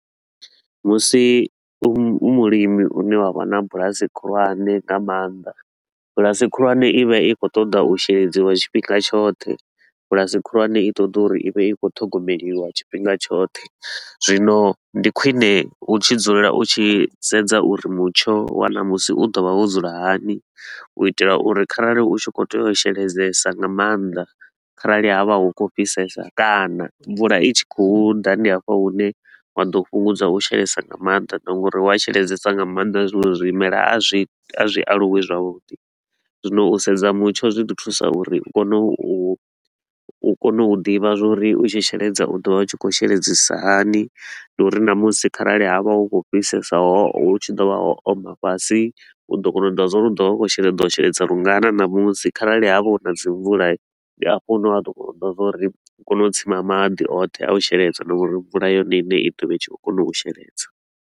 Musi u mulimi u ne wa vha na bulasi khulwane nga maanḓa, bulasi khulwane i vha i khou ṱoḓa u sheledziwa tshifhinga tshoṱhe, bulasi khulwane i ṱoḓa uri i vhe i khou ṱhogomeliwa tshifhinga tshoṱhe. Zwino ndi khwine u tshi dzulela u tshi sedza uri mutsho wa ṋamusi u ḓovha wo dzula hani u itela uri kharali u tshi khou tea u sheledzesa nga maanḓa kharali ha vha hu khou fhisesa kana mvula i tshi khou ḓa, ndi hafha hune wa ḓo fhungudza u sheledzesa nga maanḓa. Na nga uri wa sheledzesa nga maanḓa, zwiṅwe zwimelwa a zwi a zwi aluwi zwavhuḓi. Zwino u sedza mutsho zwi ḓi thusa uri u kone u kone u ḓivha zwa uri u tshi sheledza u ḓo vha u tshi khou sheledzisisa hani, na uri na musi kharali ha vha hu khou fhisesa ho hu tshi ḓo vha ho oma fhasi, u ḓo kona u ḓivha zwa uri u ḓo vha u khou shela u ḓo sheledza lungana na musi kharali ha vha hu na dzi mvula i, ndi hafho hune wa ḓo kona u ḓivha zwa uri u kone u tsima maḓi oṱhe a u sheledza na uri mvula yone i ṋe i ḓovha i tshi khou kona u sheledza.